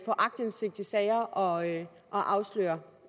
aktindsigt i sager og afsløre